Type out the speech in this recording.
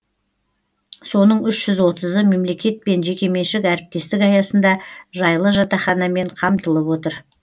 соның үш жүз отызы мемлекет пен жекеменшік әріптестік аясында жайлы жатақханамен қамтылып отыр